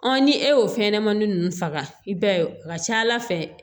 ni e y'o fɛnɲɛnɛmanin ninnu faga i b'a ye a ka ca ala fɛ